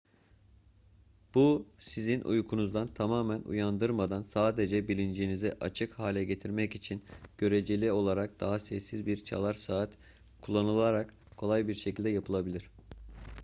bu sizi uykunuzdan tamamen uyandırmadan sadece bilincinizi açık hale getirmek için göreceli olarak daha sessiz bir çalar saat kullanılarak kolay bir şekilde yapılabilir